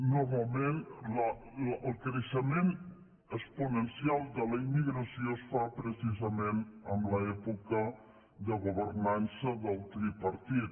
normalment el creixement exponencial de la immigració es fa precisament en l’època de governança del tripartit